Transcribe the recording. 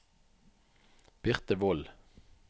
Birthe Wold